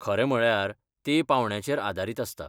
खरें म्हळ्यार तें पांवड्यांचेर आदारीत आसता.